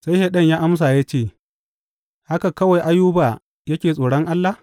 Sai Shaiɗan ya amsa ya ce, Haka kawai Ayuba yake tsoron Allah?